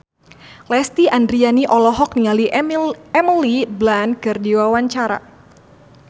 Lesti Andryani olohok ningali Emily Blunt keur diwawancara